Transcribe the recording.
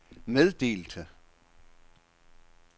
meddelte